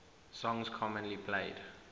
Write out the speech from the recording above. songs commonly played